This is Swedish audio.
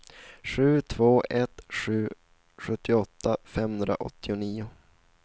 sju två ett sju sjuttioåtta femhundraåttionio